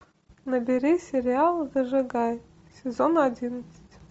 набери сериал зажигай сезон одиннадцать